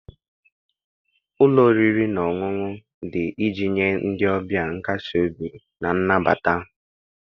Ụlọ oriri na ọṅụṅụ dị iji nye ndị ọbịa nkasi obi na nnabata